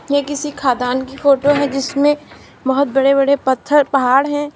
ये किसी खदान की फोटो है जिसमें बहुत बड़े बड़े पत्थर पहाड़ हैं।